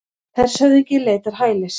Hershöfðingi leitar hælis